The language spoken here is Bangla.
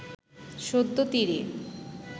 সদ্য তীরে